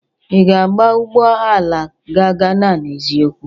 Ị ga-aba ụgbọ ala ga Gana n'eziokwu?